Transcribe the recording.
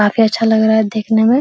काफी अच्छा लग रहा है देखने में।